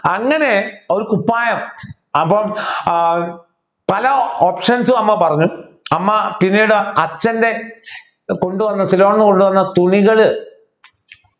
അങ്ങനെ ഒരു കുപ്പായം അപ്പോൾ ഏർ പല options ഉം അമ്മ പറഞ്ഞു അമ്മ പിന്നീട് അച്ഛൻ്റെ കൊണ്ടുവന്ന സിലോണിൽന്നു കൊണ്ടുവന്ന തുണികൾ